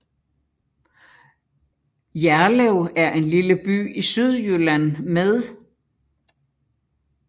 Jerlev er en lille by i Sydjylland med